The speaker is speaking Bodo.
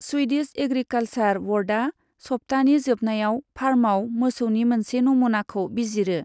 स्विडिश एग्रिकालसार ब'र्डआ सप्ताहनि जोबनायाव फार्मआव मोसौनि मोनसे नमुनाखौ बिजिरो।